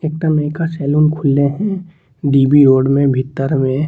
एगो नयका सैलून खुलले हेय डी.बी. रोड में भीतर में।